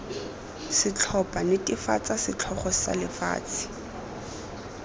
setlhopha netefatsa setlhogo sa lefatshe